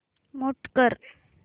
mute कर